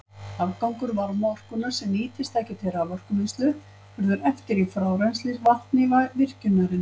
Afgangur varmaorkunnar, sem nýtist ekki til raforkuvinnslu, verður eftir í frárennslisvatni virkjunarinnar.